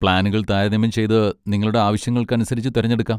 പ്ലാനുകൾ താരതമ്യം ചെയ്ത് നിങ്ങളുടെ ആവശ്യങ്ങൾക്കനുസരിച്ച് തിരഞ്ഞെടുക്കാം.